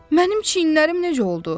Mənim çiyinlərim necə oldu?